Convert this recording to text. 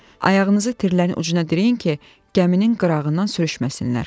Ayağınızı tirin ucuna dirəyin ki, gəminin qırağından sürüşməsinlər.